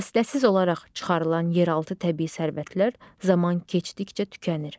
Fasıləsiz olaraq çıxarılan yeraltı təbii sərvətlər zaman keçdikcə tükənir.